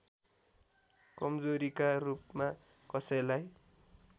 कमजोरीका रूपमा कसैलाई